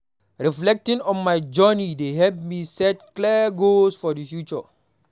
Reflecting on my journey dey help me set clear goals for the future.